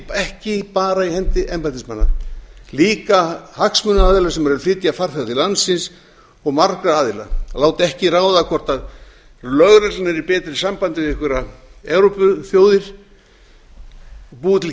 þessu ekki bara í hendi embættismanna líka hagsmunaaðila sem eru að flytja farþega til landsins og marga aðila að láta ekki ráða hvort lögreglan er í betra sambandi við einhverjar evrópuþjóðir búa til